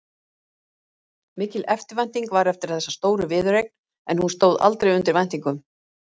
Mikil eftirvænting var eftir þessari stóru viðureign en hún stóð aldrei undir væntingum.